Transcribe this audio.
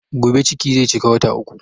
Gobe ciki zai cika wata uku